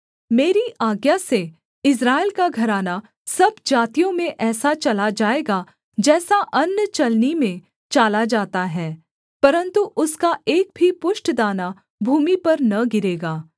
मेरी आज्ञा से इस्राएल का घराना सब जातियों में ऐसा चाला जाएगा जैसा अन्न चलनी में चाला जाता है परन्तु उसका एक भी पुष्ट दाना भूमि पर न गिरेगा